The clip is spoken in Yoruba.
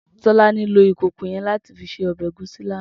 Tolani ló ikókó yèn làtí sé òbè égúsi làná